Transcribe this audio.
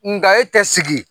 Nka e tɛ sigi